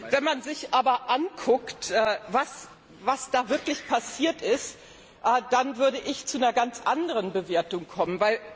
Wenn man sich aber anschaut, was wirklich passiert ist, dann würde ich zu einer ganz anderen Bewertung kommen.